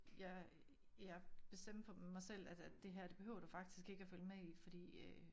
Jeg jeg bestemte for mig selv at at det her det behøver du faktisk ikke at følge med i fordi øh